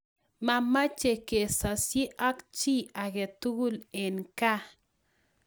Mameche kesosie ak chi age tugul eng' gaa